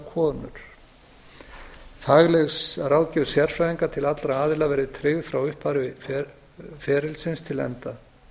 konur fagleg ráðgjöf sérfræðinga til allra aðila verði tryggð frá upphafi ferlisins til enda